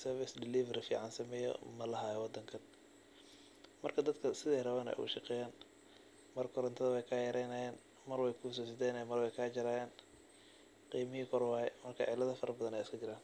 service delivery fican sameyo lamahalo wadankan marka wadanka sidey rawan ayey ogashaqeyan , mar korontodo wey kayareyan mar wey ksajerayan marna wey kusosideynayan qimahi koor waye mark cilado farabadan wey iskajiran.